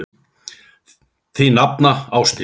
Þín nafna, Ásdís.